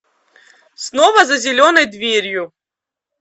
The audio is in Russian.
снова за зеленой дверью